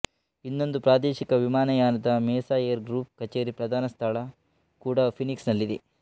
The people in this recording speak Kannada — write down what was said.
ಇನ್ನೊಂದು ಪ್ರಾದೇಶಿಕ ವಿಮಾನಯಾನದ ಮೆಸಾ ಏರ್ ಗ್ರುಪ್ ಕಚೇರಿ ಪ್ರಧಾನ ಸ್ಠಳ ಕೂಡಾ ಫೀನಿಕ್ಸ್ ನಲ್ಲಿದೆ